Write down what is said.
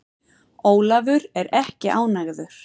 Ólafur er ekki ánægður.